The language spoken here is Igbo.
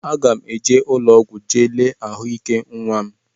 Aga m eje ụlọọgwụ jee lee ahụike nnwa m